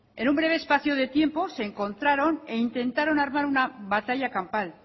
en un breve espacio de tiempo se encontraron e intentaron armar una batalla campal